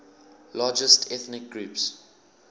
largest ethnic groups